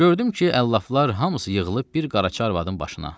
Gördüm ki, əlləflər hamısı yığılıb bir qaraçı arvadının başına.